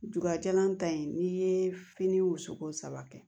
Jugajalan ta in n'i ye fini wusu ko saba kɛ